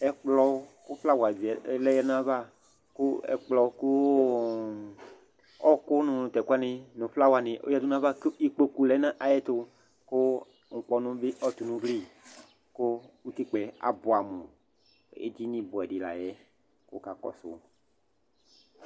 Ɛkplɔ kʋ flawa zɛ lɛ nʋ ayava kʋ ɛkplɔ kʋ ɔɣɔkʋ nʋ tʋ ɛkʋ wanɩ nʋ flawanɩ ɔyǝdu nʋ ayava kʋ ikpoku lɛ nʋ ayɛtʋ kʋ ŋkpɔnʋ bɩ ɔtʋ nʋ ugli kʋ utikpǝ yɛ abʋɛamʋ Edini bʋɛ dɩ la yɛ kʋ wʋakakɔsʋ